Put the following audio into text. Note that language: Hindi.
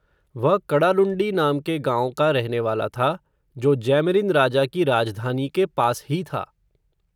वह कडालुण्डी नाम के गाँव का रहनेवाला था, जो जैमरिन राजा की राजधानी के पास ही था